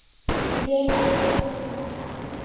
Við að skoða þetta.